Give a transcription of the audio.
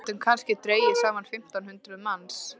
Við gætum kannski dregið saman fimmtán hundruð manns.